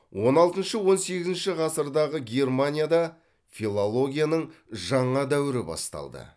он алтыншы он сегізінші ғасырдағы германияда филологияның жана дәуірі басталды